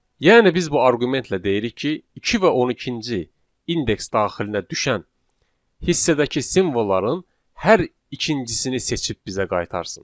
Yəni biz bu arqumentlə deyirik ki, 2 və 12-ci indeks daxilinə düşən hissədəki simvolları hər ikincisini seçib bizə qaytarsın.